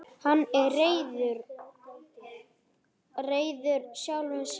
Hann er reiður sjálfum sér.